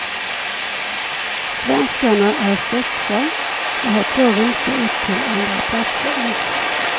Svenskarna är sexa och har två vinster upp till andraplatsen.